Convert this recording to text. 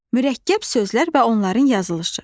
Mürəkkəb sözlər və onların yazılışı.